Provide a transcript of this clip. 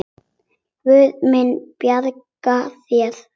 Guð mun bjarga þér.